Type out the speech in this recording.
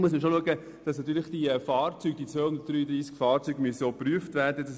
Zudem muss man beachten, dass auch diese 233 Fahrzeuge geprüft werden müssen.